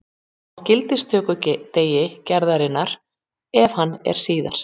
Á gildistökudegi gerðarinnar, ef hann er síðar.